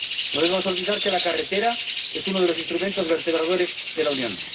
No debemos olvidar que la carretera es uno de los instrumentos vertebradores de la Unión.